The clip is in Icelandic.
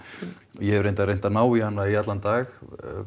ég hef reyndar reynt að ná í hana í allan dag